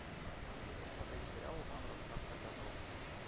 хочу посмотреть сериал жанра сказка для взрослых